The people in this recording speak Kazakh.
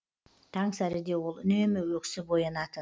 таңсәріде ол үнемі өксіп оянатын